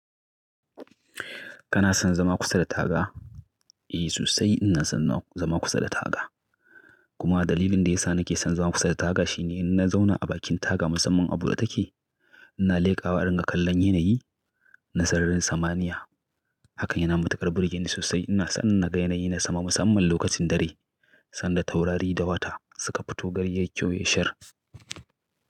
Kana son zama kusa da taga? Eh, sosai ina son zama kusa da taga. Kuma dalilin da ya sa nake son zama kusa da taga shine in na zauna a bakin taga musamman a bude take, ina leƙawa in rinka kallon yanayi na sararin samaniya. Hakan yana matuƙar burge ni sosai. Ina son na ga yanayi na sama musamman lokacin dare sanda taurari da wata suka fito gari yayi kyau ya shar.